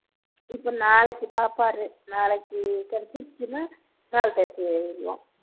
இப்போ நாளைக்கு பாப்பாரு நாளைக்கு கெடச்சுருச்சுன்னா நாளகழிச்சு ஏறிருவான்